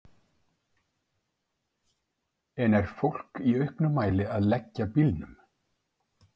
En er fólk í auknum mæli að leggja bílunum?